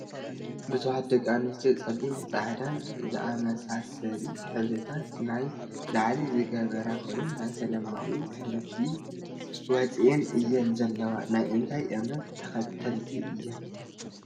ብዙሓት ደቂ ኣንስትዮ ፀሊምን ፃዕዳን ዝኣመሳሰሊ ሕብርታት ናይ ላዕሊ ዝገበራ ኮይነን ናይ ሰላማዊ ሰልፊ ወፅኤን እየን ዘለዋ። ናይ እንታይ እምነት ተከተልቲ እየን?